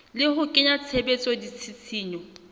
le ho kenya tshebetsong ditshisinyo